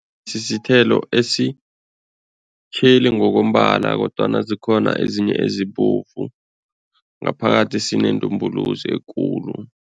Sisithelo esitjheli ngokombala kodwana zikhona ezinye ezibovu, ngaphakathi sinendumbuluzi ekulu.